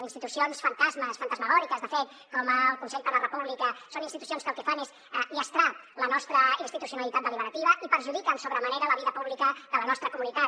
institucions fantasmes fantasmagòriques de fet com el consell per la república són institucions que el que fan és llastrar la nostra institucionalitat deliberativa i perjudiquen sobre manera la vida pública de la nostra comunitat